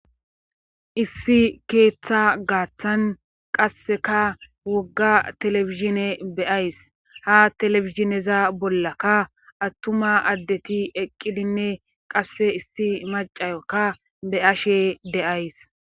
issi keeththa gaaththan qasseka wogga telefizhine beays ha telefizineza bollakka attuma addeti eqqidinne qasse issi macayokka be ashe deays